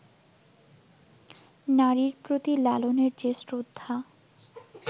নারীর প্রতি লালনের যে শ্রদ্ধা